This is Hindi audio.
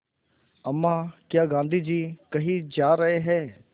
अम्मा क्या गाँधी जी कहीं जा रहे हैं